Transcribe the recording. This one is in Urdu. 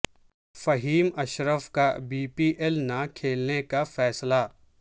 فہیم اشرف کا بی پی ایل نہ کھیلنے کا فیصلہ